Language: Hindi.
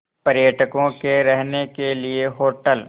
पर्यटकों के रहने के लिए होटल